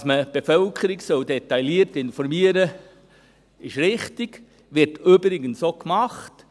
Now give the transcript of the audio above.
Dass man die Bevölkerung detailliert informieren soll, ist richtig und wird übrigens auch gemacht.